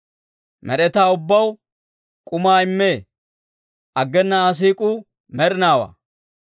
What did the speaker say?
Med'etaa ubbaw k'umaa immee; aggena Aa siik'uu med'inaawaa.